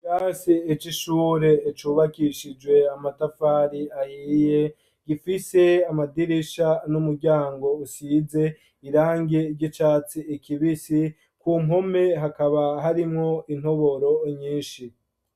Ikirasi c'ishure icubakishijwe amatafari ayiye gifise amadirisha n'umuryango usize irangi ry'icati ikibisi ku mpome hakaba harimwo intoboro nyinshi.